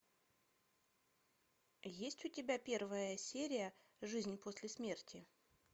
есть у тебя первая серия жизнь после смерти